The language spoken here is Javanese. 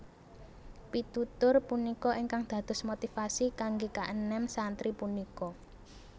Pitutur punika ingkang dados motivasi kanggé kaenem santri punika